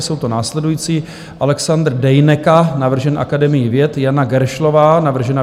Jsou to následující: Alexandr Dejneka, navržen Akademií věd, Jana Geršlová, navržená